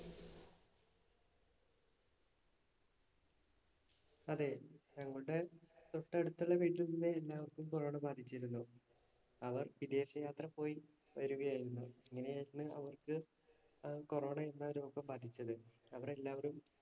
അതെ, ഞങ്ങളുടെ തൊട്ടടുത്തുള്ള വീട്ടിൽനിന്ന് എല്ലാവർക്കും corona ബാധിച്ചിരുന്നു. അവർ വിദേശയാത്ര പോയി വരികയായിരുന്നു. അങ്ങനെയായിരുന്നു അവർക്ക് corona എന്ന രോഗം വ്യാപിച്ചത്. അവരെല്ലാവരും